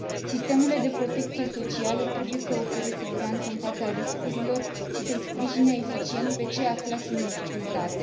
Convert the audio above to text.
Sistemele de protecție socială trebuie să ofere siguranță în fața riscurilor și să îi sprijine eficient pe cei aflați în dificultate.